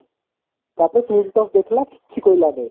ତାପରେ ଦେଖିଲା କିଛି କହିଲାନି